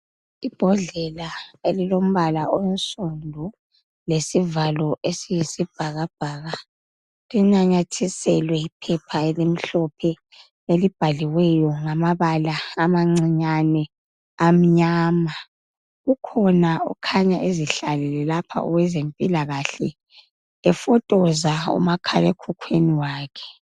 ibhodlela elilombala onsundu lesivalo esiyisibhakabhaka linathiselwe iphepha elimhlophe elibhaliweyo ngamabala amancinyane amanyama kukhona okhanya ezihlalele lapha owezempilakahle efotoza umakhala ekhukhwini wakhe